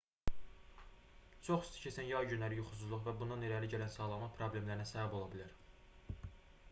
çox isti keçən yay günləri yuxusuzluq və bundan irəli gələn sağlamlıq problemlərinə səbəb ola bilər